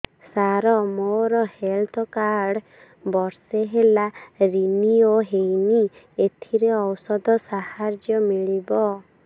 ସାର ମୋର health card ବର୍ଷେ ହେଲା ରିନିଓ ହେଇନି ଏଥିରେ ଔଷଧ ସାହାଯ୍ୟ ମିଳିବ